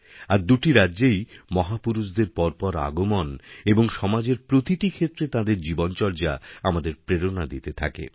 আর দুটি রাজ্যেই মহাপুরুষদের পরপর আগমন এবং সমাজের প্রতিটি ক্ষেত্রে তাঁদের জীবনচর্যা আমাদের প্রেরণা দিতে থাকে